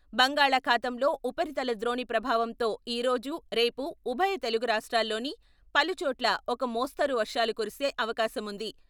బంగాళాఖాతంలో ఉపరితల ద్రోణి ప్రభావంతో ఈరోజు, రేపు ఉభయ తెలుగు రాష్ట్రాల్లోని పలుచోట్ల ఒక మోస్తరు వర్షాలు కురిసే అవకాశముంది.